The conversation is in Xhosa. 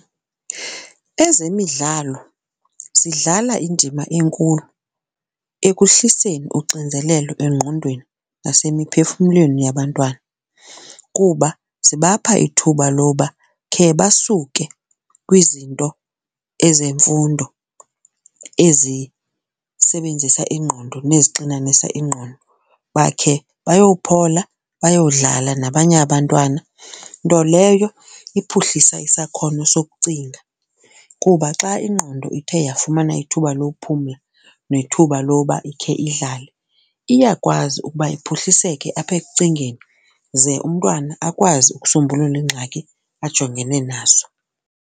Ezemidlalo zidlala indima enkulu ekuhliseni uxinzelelo engqondweni nasemiphefumlweni yabantwana kuba zibapha ithuba loba khe basuke kwizinto ezemfundo ezisebenzisa ingqondo nezixinanisa ingqondo bakhe bayophola bayodlala nabanye abantwana, nto leyo iphuhlisa isakhono sokucinga. Kuba xa ingqondo ithe yafumana ithuba lokuphumla nethuba loba ikhe idlale, iyakwazi ukuba iphuhliseke apha ekucingeni ze umntwana akwazi ukusombulula iingxaki ajongene nazo.